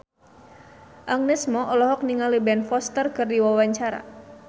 Agnes Mo olohok ningali Ben Foster keur diwawancara